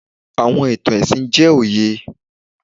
Awọn itan ẹsin jẹ oye